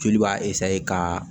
Joli b'a ka